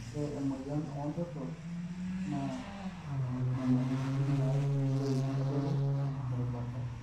ore emoyian oontoto naa nyamalitin natii loik adoru terubata